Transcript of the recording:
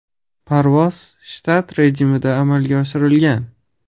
Parvoz shtat rejimida amalga oshirilgan.